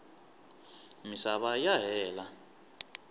misava ya hela